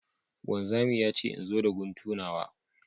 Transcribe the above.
Wanzami ya ce in zo da guntu nawa